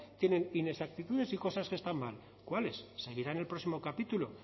tienen inexactitudes y cosas que están mal cuáles seguirá en el próximo capítulo